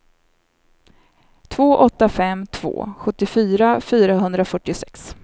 två åtta fem två sjuttiofyra fyrahundrafyrtiosex